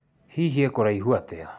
Hihi e kũraihu atĩa?